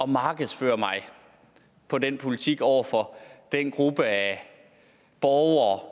markedsføre mig på den politik over for den gruppe af borgere